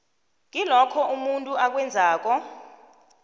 kilokho umuntu akwenzekako